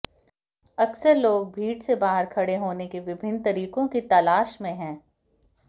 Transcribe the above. अक्सर लोग भीड़ से बाहर खड़े होने के विभिन्न तरीकों की तलाश में हैं